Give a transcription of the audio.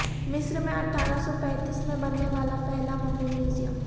مصر میں اٹھارہ سو پینتیس میں بننے والا پہلا ممی میوزیم